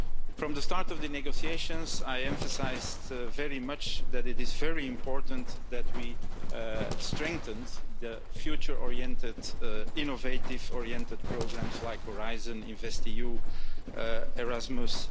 From the start of the negotiations, I emphasised very much that it is very important that we strengthen the future oriented, innovation oriented programmes like Horizon, InvestEU, Erasmus...